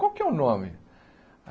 Qual é que é o nome?